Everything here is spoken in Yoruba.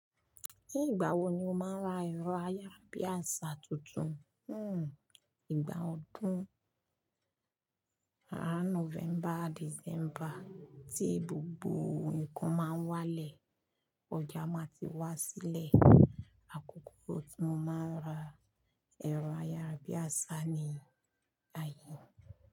Ní ìgbà wo ni o máa ń ra ẹ̀rọ ayárabíàṣá tuntun? Ìgbà ọdún around November, December tí gbogbo nǹkan máa ń wá lẹ̀, ọjà máa ti wá sílẹ̀. Àkókò tí mo máa ń ra ẹ̀rọ ayárabíàṣá ni àyè.